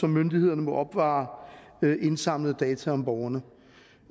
myndighederne må opbevare indsamlede data om borgerne